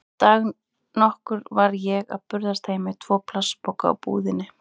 Dag nokkurn var ég að burðast heim með tvo plastpoka úr búðinni.